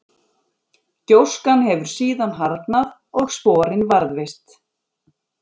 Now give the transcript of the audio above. gjóskan hefur síðan harðnað og sporin varðveist